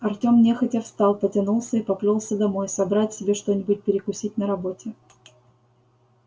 артём нехотя встал потянулся и поплёлся домой собрать себе что-нибудь перекусить на работе